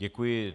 Děkuji.